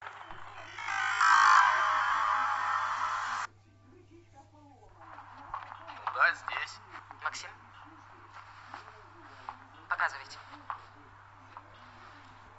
да здесь максим показывайте